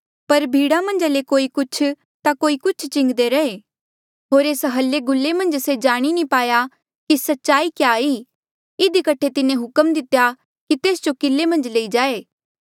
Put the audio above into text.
पर भीड़ा मन्झा ले कोई कुछ होर कोई कुछ चिंगदे रैहे होर एस हलेगूले मन्झ से जाणी नी पाया कि सच्चाई क्या ई इधी कठे तिन्हें हुक्म दितेया कि तेस जो किले मन्झ लई चला